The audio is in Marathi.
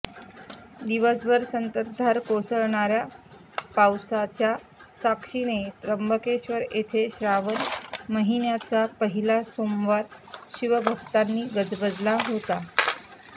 दिवसभर संततधार कोसळणाऱ्या पावासाच्या साक्षीने त्र्यंबकेश्वर येथे श्रावण महिन्याचा पहिला सोमवार शिवभक्तांनी गजबजला होता